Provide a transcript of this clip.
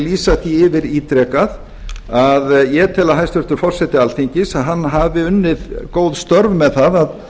lýsa því yfir ítrekað að ég tel að hæstvirtur forseti alþingis hafi unnið góð störf með það að